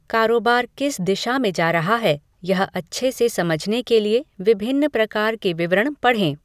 कारोबार किस दिशा में जा रहा है, यह अच्छे से समझने के लिए विभिन्न प्रकार के विवरण पढ़ें।